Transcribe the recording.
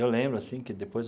Eu lembro assim que, depois,